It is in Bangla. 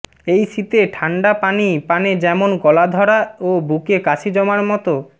এই শীতে ঠাণ্ডা পানি পানে যেমন গলা ধরা ও বুকে কাশি জমার মতো